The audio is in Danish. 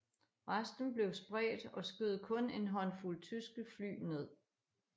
Resten blev spredt og skød kun en håndfuld tyske fly ned